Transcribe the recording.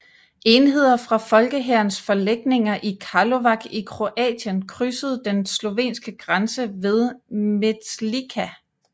Enheder fra Folkehærens forlægninger i Karlovac i Kroatien krydsede den slovenske grænse ved Metlika